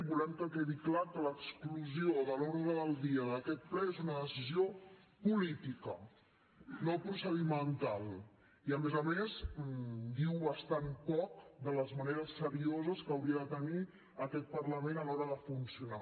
volem que quedi clar que l’exclusió de l’ordre del dia d’aquest ple és una decisió política no procedimental i a més a més diu bastant poc de les maneres serioses que hauria de tenir aquest parlament a l’hora de funcionar